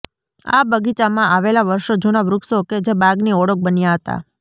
આ બગીચામાં આવેલાં વર્ષો જુના વૃક્ષો કે જે બાગની ઓળખ બન્યા હતા